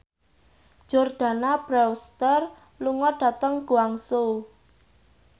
Jordana Brewster lunga dhateng Guangzhou